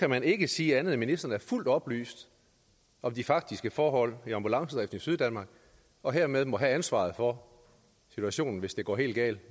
kan man ikke sige andet end at ministeren er fuldt oplyst om de faktiske forhold i ambulancedriften i syddanmark og hermed må have ansvaret for situationen hvis det går helt galt